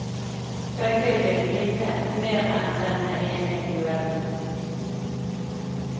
Begge vil vinne mer enn denne ene duellen.